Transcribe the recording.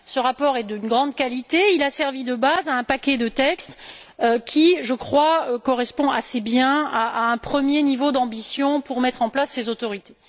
Ce rapport, de grande qualité, a servi de base à un paquet de textes qui, je crois, correspond assez bien à un premier niveau d'ambition pour mettre en place ces autorités.